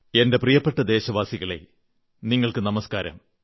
എന്റെ പ്രിയപ്പെട്ട ദേശവാസികളേ നിങ്ങൾക്കു നമസ്കാരം